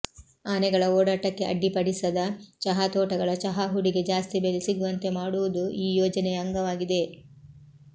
ಆನೆಗಳ ಓಡಾಟಕ್ಕೆ ಅಡ್ಡಿಪಡಿಸದ ಚಹಾತೋಟಗಳ ಚಹಾಹುಡಿಗೆ ಜಾಸ್ತಿ ಬೆಲೆ ಸಿಗುವಂತೆ ಮಾಡುವುದೂ ಈ ಯೋಜನೆಯ ಅಂಗವಾಗಿದೆ